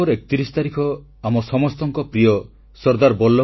• hockey ବିଶ୍ୱକପ ଦେଖିବା ଲାଗି ଭୁବନେଶ୍ୱର ଯିବାକୁ କ୍ରୀଡାପ୍ରେମୀଙ୍କୁ ଆହ୍ୱାନ